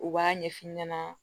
U b'a ɲɛf'i ɲɛna